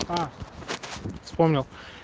а вспомнил